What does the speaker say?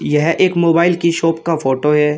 यह एक मोबाइल की शॉप का फोटो है।